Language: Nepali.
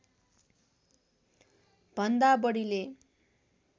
भन्दा बढीले